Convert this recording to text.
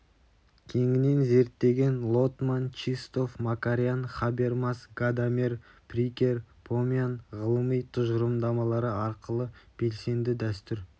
кеңінен зерттеген лотман чистов макарян хабермас гадамер прикер помян ғылыми тұжырымдамалары арқылы белсенді дәстүр